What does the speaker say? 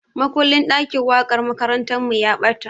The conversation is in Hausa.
Makullin ɗakin waƙar makarantarmu ya ɓata.